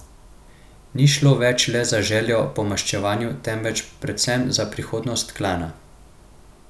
Ni šlo več le za željo po maščevanju, temveč predvsem za prihodnost klana.